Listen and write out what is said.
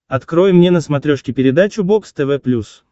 открой мне на смотрешке передачу бокс тв плюс